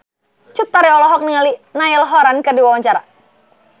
Cut Tari olohok ningali Niall Horran keur diwawancara